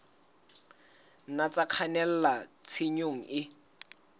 nna tsa kgannela tshenyong e